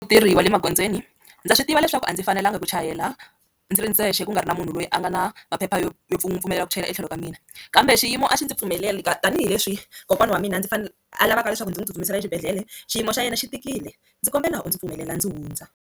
Vatirhi va le magondzweni ndza swi tiva leswaku a ndzi fanelanga ku chayela ndzi ri ndzexe ku nga ri na munhu loyi a nga na maphepha yo yo n'wi pfumelela ku chayela etlhelo ka mina, kambe xiyimo a xi ndzi pfumeleli tanihileswi kokwana wa mina ndzi fanele a lavaka leswaku ndzi n'wi tsutsumisela exibedhlele xiyimo xa yena xi tikile, ndzi kombela u ndzi pfumelela ndzi hundza.